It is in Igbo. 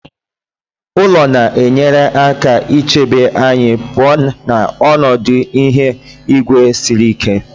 ụlọ na-enyere aka ichebe anyị pụọ na ọnọdụ ihu igwe siri ike